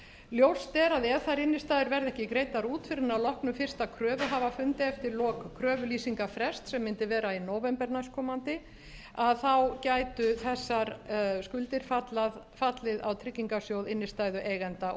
ljóst er að ef þær innstæður verða ekki greiddar út fyrr en að loknum fyrsta kröfuhafafundi eftir lok kröfulýsingarfrests sem mundu vera í nóvember næstkomandi að þá gætu þessar skuldir fallið á tryggingarsjóð innstæðueigenda